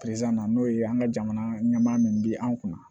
na n'o ye an ka jamana ɲɛmaa min bi an kunna